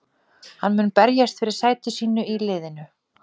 Hann mun berjast fyrir sæti sínu í liðinu.